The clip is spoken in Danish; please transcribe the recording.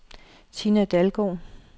Tina Dalgaard